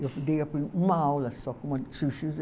Eu dei a pri, uma aula só com